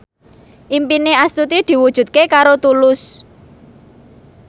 impine Astuti diwujudke karo Tulus